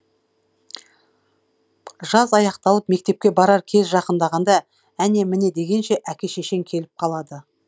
жаз аяқталып мектепке барар кез жақындағанда әне міне дегенше әке шешең келіп қалады